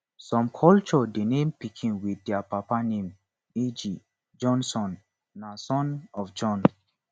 some culture de name pikin with their papa name eg jonsson na son of jon